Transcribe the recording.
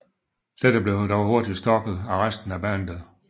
Dette blev dog hurtigt stoppet af resten af bandet